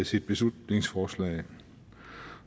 sit beslutningsforslag